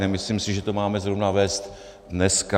Nemyslím si, že to máme zrovna vést dneska.